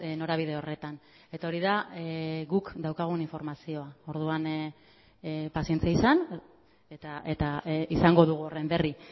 norabide horretan eta hori da guk daukagun informazioa orduan pazientzia izan eta izango dugu horren berri